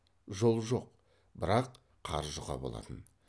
жол жоқ бірақ қар жұқа болатын